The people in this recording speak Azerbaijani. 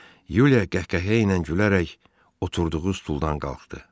Yuliya qəhqəhə ilə gülərək oturduğu stuldan qalxdı.